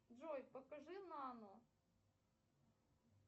джой покажи нану